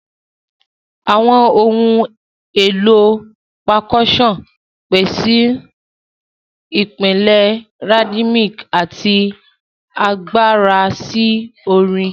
Awọn ohun elo Percussion pese ipilẹ rhythmic ati agbara si orin.